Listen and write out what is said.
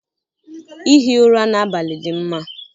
Ihi ụra n'abalị dị mma.